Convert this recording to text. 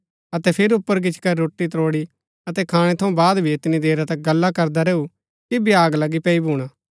अतै फिर ऊपर गिचीकरी रोटी त्रोड़ी अतै खाणै थऊँ बाद भी ऐतनी देरा तक गल्ला करदा रैऊ कि भ्याग लगी पैई भूणा फिरी सो चली गो